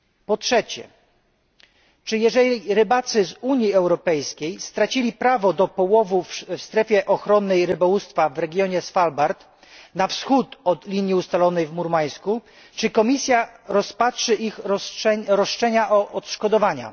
Po trzecie, czy jeżeli rybacy z Unii Europejskiej stracili prawo do połowów w strefie ochronnej rybołówstwa w regionie Svalbard, na wschód od linii ustalonej w Murmańsku, czy Komisja rozpatrzy ich roszczenia o odszkodowania?